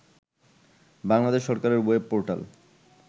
বাংলাদেশ সরকারের web portal